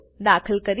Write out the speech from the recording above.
દાખલ કરીશ